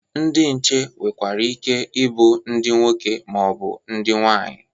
Ndị nche nwerekwara ike ịbụ ndị nwoke ma ọ bụ ndị nwaanyị.